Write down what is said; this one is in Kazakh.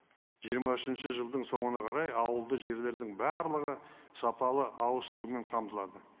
жиырма үшінші жылдың соңына қарай ауылды жерлердің барлығы сапалы ауызсумен қамтылады